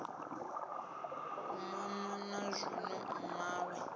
u mama na zwino mmawe